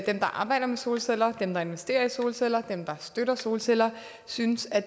der arbejder med solceller dem der investerer i solceller dem der støtter solceller synes at